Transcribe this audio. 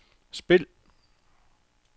spil